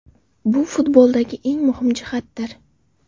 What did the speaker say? Bu futboldagi eng muhim jihatdir.